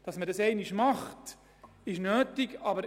Dass man sie später erneut erwägen muss, wird nötig sein.